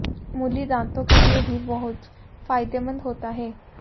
मूली दांतों के लिए भी बहुत फायदेमंद होता है